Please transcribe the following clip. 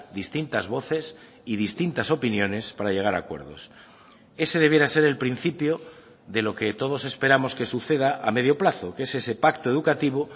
distintas voces y distintas opiniones para llegar a acuerdos ese debiera ser el principio de lo que todos esperamos que suceda a medio plazo que es ese pacto educativo